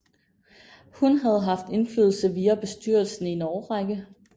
Hun havde haft indflydelse via bestyrelsen i en årrække